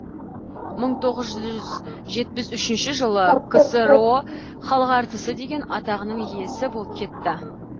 мың тоғыз жүз жетпіс үшінші жылы ксро халық әртісі деген атағының иесі болып кетті